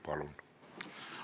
Palun!